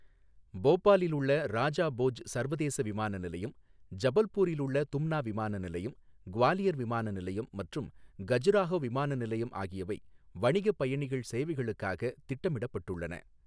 போபாலில் உள்ள ராஜா போஜ் சர்வதேச விமான நிலையம், ஜபல்பூரில் உள்ள தும்னா விமான நிலையம், குவாலியர் விமான நிலையம் மற்றும் கஜுராஹோ விமான நிலையம் ஆகியவை வணிகப் பயணிகள் சேவைகளுக்காக திட்டமிடப்பட்டுள்ளன.